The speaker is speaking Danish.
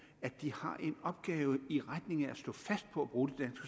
at de har en opgave i retning af at stå fast på at bruge det